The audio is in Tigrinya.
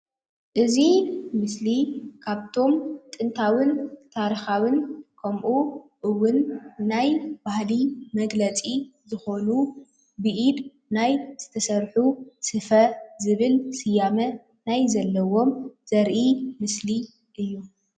እዚ ምስሊ ካብቶም ጥንታዊን ታሪካዉን ከምእዉን ናይ ባህሊ መግለፂ ዝኾኑ ብኢድ ናይ ዝተሰርሑ ስፈ ዝብል ስያመ ናይ ዘለዎም ዘርኢ ምስሊ እዩ።